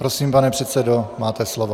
Prosím, pane předsedo, máte slovo.